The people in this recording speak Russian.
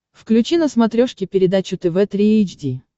включи на смотрешке передачу тв три эйч ди